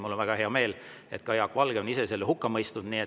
Mul on väga hea meel, et ka Jaak Valge ise on selle hukka mõistnud.